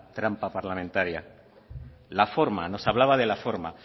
trampa parlamentaria la forma nos hablaba de la forma